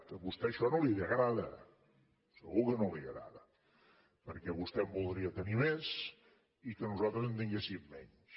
a vostè això no li agrada segur que no li agrada perquè vostè en voldria tenir més i que nosaltres en tinguéssim menys